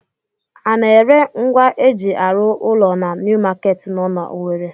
A na-ere ngwa eji arụ ụlọ na New Market nọ na Owere?